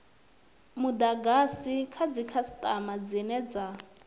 mudagasi dza dzikhasitama dzine dza